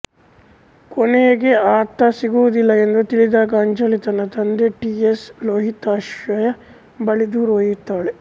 ಕೊನೆಗೆ ಆತ ಸಿಗುವುದಿಲ್ಲ ಎಂದು ತಿಳಿದಾಗ ಅಂಜಲಿ ತನ್ನ ತಂದೆ ಟಿ ಎಸ್ ಲೋಹಿತಾಶ್ವಯ ಬಳಿ ದೂರು ಒಯ್ಯುತ್ತಾಳೆ